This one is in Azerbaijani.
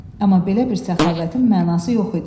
Amma belə bir səxavətin mənası yox idi.